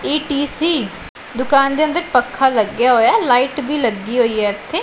ETC ਦੁਕਾਨ ਦੇ ਅੰਦਰ ਪੱਖਾ ਲੱਗਿਆ ਹੋਇਆ ਅ ਲਾਈਟ ਵੀ ਲੱਗੀ ਹੋਈ ਹੈ ਇੱਥੇ।